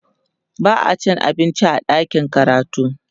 ba'a cin abinci a ɗakin karatu